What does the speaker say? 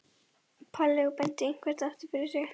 Palli og benti eitthvert aftur fyrir sig.